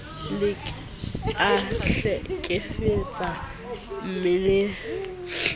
se ke a hlekefetsa mmeleng